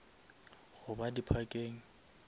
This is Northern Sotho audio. goba di parkeng